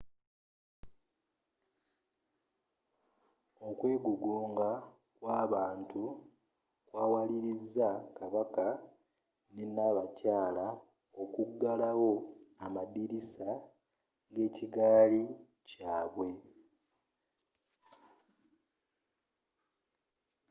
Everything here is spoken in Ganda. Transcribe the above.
okwegugunga kwabantu kwawaliriza kabaka ne nabakayala okugulawo amadirisa g'ekigaali kyaabwe